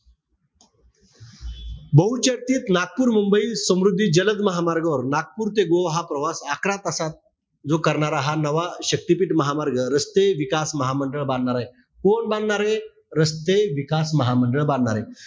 बहुचर्चित नागपूर-मुंबई समृद्धी जलद महामार्गावर नागपूर ते गोवा हा प्रवास अकरा तासात जो हा करणारा नवा शक्तिपीठ महामार्ग, रस्ते विकास महामंडळ बांधणार आहे. कोण बांधणारे? रस्ते विकास महामंडळ बांधणार आहे.